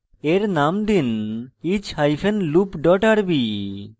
এর name দিন each hyphen loop dot rb